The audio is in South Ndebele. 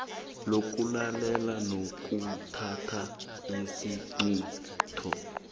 lokulalela nokuthatha isiqunto